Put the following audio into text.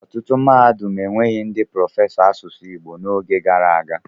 Ọtụtụ mahadum enweghị ndị prọfesọ asụsụ Igbo n'oge gara aga.